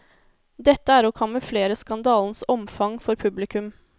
Dette er å kamuflere skandalens omfang for publikum.